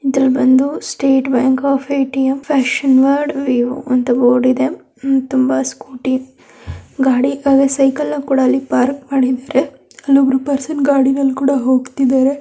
ಇದರಲ್ಲಿ ಬಂದು state bank of ATM passion word ವಿವ್ ಅಂತ ಬೋರ್ಡ್ ಇದೆ ತುಂಬಾ ಸ್ಕೂಟಿ ಗಾಡಿ ಸೈಕಲ್ ಕೂಡ ಪಾರ್ಕ್ ಮಾಡಿದ್ದಾರೆ ಅಲ್ಲಿ ಒಬ್ರ ಪರ್ಸನ್ ಗಾಡಿಗಳಲ್ಲಿ ಹೋಗ್ತಾಯಿದ್ದರೆ .